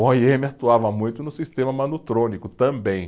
O o i eme atuava muito no sistema manutrônico também.